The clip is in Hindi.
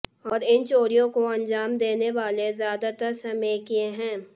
और इन चोरियों को अंजाम देने वाले ज्यादातर स्मैकिये हैं